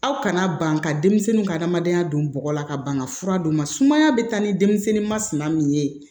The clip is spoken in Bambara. Aw kana ban ka denmisɛnninw ka hadamadenya don bɔgɔ la ka ban ka fura d'u ma sumaya bɛ taa ni denmisɛnnin masina min ye